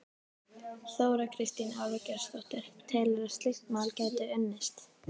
Þóra Kristín Ásgeirsdóttir: Telurðu að slíkt mál gæti unnist?